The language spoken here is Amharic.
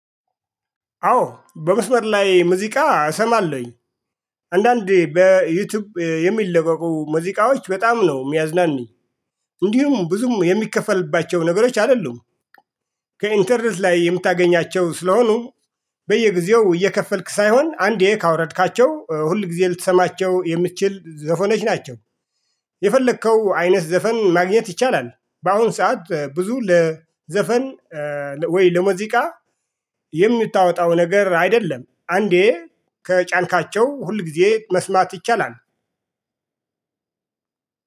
አዎ በመስመር ላይ ሙዚቃ እሰማለሁኝ። አንዳንዴ በዩቲዩብ የሚለቀቁ ሙዚቃዎች በጣም ነው የሚያዝናኑኝ። እንዲሁም ብዙም የሚከፈልባቸው ነገሮች አይደሉም። ከኢንተርኔት ላይ የምታገኛቸው ስለሆኑ በየጊዜው እየከፈልክ ሳይሆን አንዴ ካወረድካቸው ሁል ጊዜ ልትሰማቸው የምትችል ዘፈኖች ናቸው። የፈለከው አይነት ዘፈን ማግኘት ይቻላል። በአሁን ሰዓት ብዙ ለዘፈን ወይ ለሙዚቃ የምታወጣው ነገር አይደለም። አንዴ ከጫንካቸው ሁል ጊዜ መስማት ይቻላል።